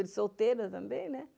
Ele solteira também, né?